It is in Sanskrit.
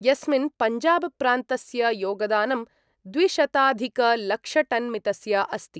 यस्मिन् पञ्जाबप्रान्तस्य योगदानं द्विशताधिकलक्षटन्मितस्य अस्ति।